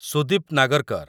Sudip Nagarkar